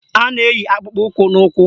A na-eyi akpụkpọụkwụ n'ụkwụ